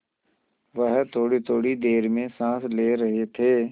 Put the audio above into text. वह थोड़ीथोड़ी देर में साँस ले रहे थे